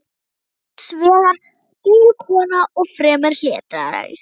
Amma var hins vegar dul kona og fremur hlédræg.